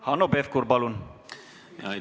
Hanno Pevkur, palun!